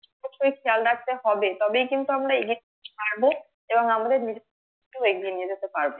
খেয়াল রাখতে হবে তবে কিন্তু মারা এদিক পারবে এবং আমরা নিজেরা এগিয়ে নিয়ে যেতে পারবে